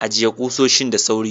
Ajiye kusoshin da sauri.